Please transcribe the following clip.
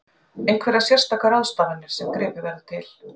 Einhverjar sérstakar ráðstafanir sem verður gripið til?